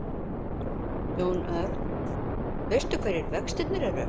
Jón Örn: Veistu hverjir vextirnir eru?